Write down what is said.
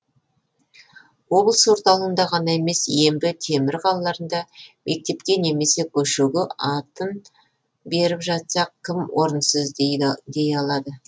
облыс орталығында ғана емес ембі темір қалаларында мектепке немесе көшеге атын беріп жатсақ кім орынсыз дей алады